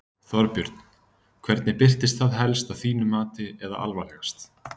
Þorbjörn: Hvernig birtist það helst að þínu mati eða alvarlegast?